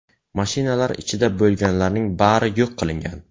Mashinalar ichida bo‘lganlarning bari yo‘q qilingan.